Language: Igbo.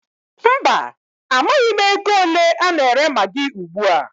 Mba, amaghị m ego ole a na-ere magị ugbua.